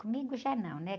Comigo já não, né?